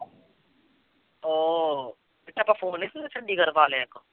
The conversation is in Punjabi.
ਉਹ ਜਿੱਥੇ ਆਪਾਂ ਪਾ ਲਿਆ ਇੱਕ